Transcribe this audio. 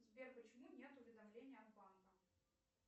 сбер почему нет уведомления от банка